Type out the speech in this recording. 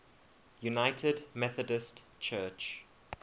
united methodist church